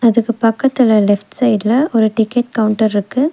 அதுக்கு பக்கத்துல லெஃப்ட் சைட்ல ஒரு டிக்கெட் கவுண்டர் இருக்கு.